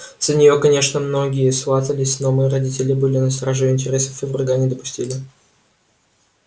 за нее конечно многие сватались но мы родители были на страже её интересов и врага не допустили